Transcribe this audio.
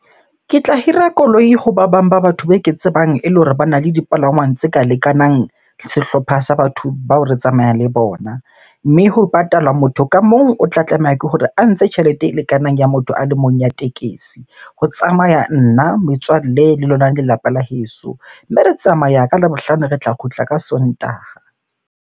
Ke tla hira koloi ho ba bang ba batho be ke tsebang ele hore bana le dipalangwang tse ka lekanang sehlopha sa batho bao re tsamayang le bona. Mme ho patalwa, motho ka mong o tla tlameha ke hore a ntshe tjhelete e lekanang ya motho a le mong ya tekesi. Ho tsamaya nna, metswalle le lona lelapa la heso. Mme re tsamaya ka Labohlano, re tla kgutla ka Sontaha.